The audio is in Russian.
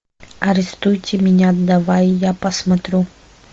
арестуйте меня давай я посмотрю